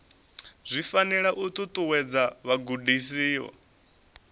zwi fanela u ṱuṱuwedza vhagudiswa